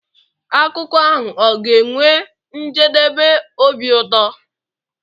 akụkọ ahụ ọ ga-enwe njedebe obi ụtọ?